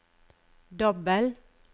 dobbel